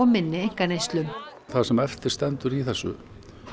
minni einkaneyslu það sem eftir stendur í þessu